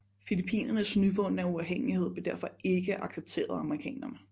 Filippinernes nyvundne uafhængighed blev derfor ikke accepteret af amerikanerne